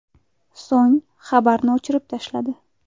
So‘ng xabarni o‘chirib tashladi.